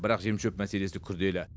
бірақ жем шөп мәселесі күрделі